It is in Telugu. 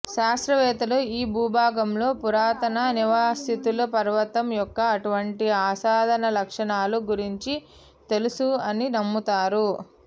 శాస్త్రవేత్తలు ఈ భూభాగాల్లో పురాతన నివాసితులు పర్వతం యొక్క అటువంటి అసాధారణ లక్షణాలు గురించి తెలుసు అని నమ్ముతారు